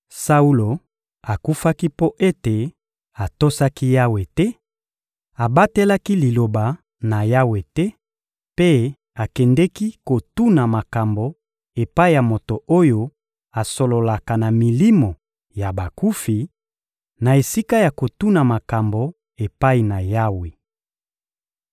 Saulo akufaki mpo ete atosaki Yawe te, abatelaki Liloba na Yawe te mpe akendeki kotuna makambo epai ya moto oyo asololaka na milimo ya bakufi, na esika ya kotuna makambo epai na Yawe.